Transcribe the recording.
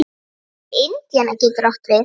Indiana getur átt við